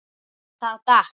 Það datt.